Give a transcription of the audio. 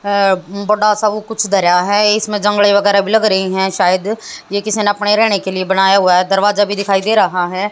अ बड़ा सा वो कुछ धरा है इसमें जंगले वगैरा भी लग रही है शायद ये किसी ने अपने रहने के लिए बनाया हुआ है दरवाजा भी दिखाई दे रहा है।